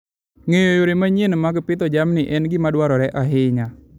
Ng'eyo yore manyien mag pidho jamni en gima dwarore ahinya.